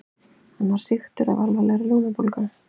Hann var sýktur af alvarlegri lungnabólgu.